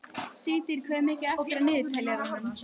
Sigtýr, hvað er mikið eftir af niðurteljaranum?